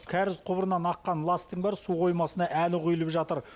кәріз құбырынан аққан ластың бәрі су қоймасына әлі құйылып жатыр